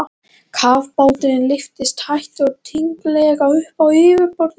Kafbáturinn lyftist hægt og tignarlega upp á yfirborðið.